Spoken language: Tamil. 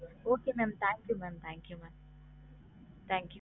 Okay mam thank you mam thank you mam thank you